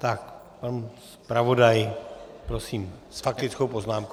Tak pan zpravodaj, prosím, s faktickou poznámkou.